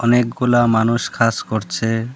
অনেকগুলা মানুষ কাজ করছে।